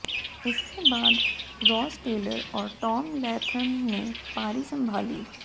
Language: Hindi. इसके बाद रॉस टेलर और टॉम लैथम ने पारी संभाली